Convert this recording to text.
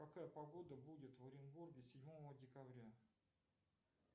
какая погода будет в оренбурге седьмого декабря